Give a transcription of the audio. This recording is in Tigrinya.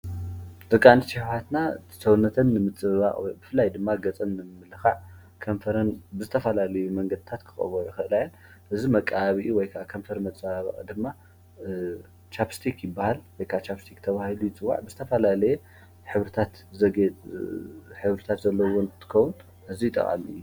ደቂ ኣንስትዮ ኣሕዋትና ሰውነተን ንምፅብባቕ ብፍላይ ድማ ገፀን ንምምልኻዕ ከንፈረን ብተፈላለዩ መንገድታት ክቐብኦኦ ይኽእላ እየን። እዚ መቀባብኢ ወይ ድማ ከንፈር መፀባበቒ ድማ ቻፕ ስቲክ ይበሃል። ወይ ከዓ ቻፕ ስቲክ ተባሂሉ ይፅዋዕ። ዝተፈላለየ ሕብርታት ዘለዉዎ እንትትኸውን ኣዝዩ ጠቓሚ እዩ።